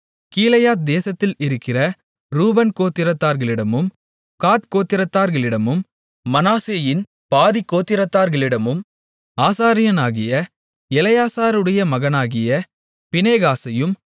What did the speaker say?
கீலேயாத் தேசத்தில் இருக்கிற ரூபன் கோத்திரத்தார்களிடமும் காத் கோத்திரத்தார்களிடமும் மனாசேயின் பாதிக் கோத்திரத்தார்களிடமும் ஆசாரியனாகிய எலெயாசாருடைய மகனாகிய பினெகாசையும்